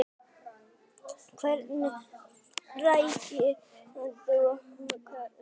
Hvernig ræktar þú hugann?